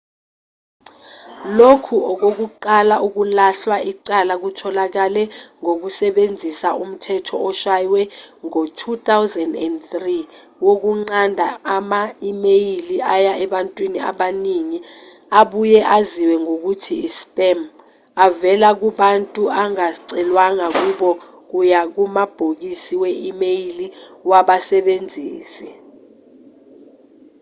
lokhu okokuqala ukulahlwa icala kutholakale ngokusebenzisa umthetho oshwaywe ngo-2003 wokunqanda ama-imeyili aya ebantwini abaningi abuye aziwe ngokuthi i-spam avela kubantu angacelwanga kubo kuya kumabhokisi we-imeyili wabasebenzisi